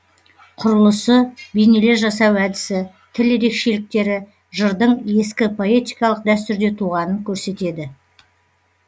құрылысы бейнелер жасау әдісі тіл ерекшіліктері жырдың ескі поэтикалық дәстүрде туғанын көрсетеді